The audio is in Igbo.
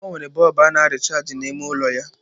O nwere bọlbụ a na rịchaajị n'ime ụlọ ya.